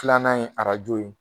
Filanan ye arajo ye